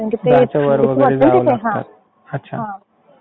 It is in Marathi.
दहाच्या वर. बरोबर. अच्छा.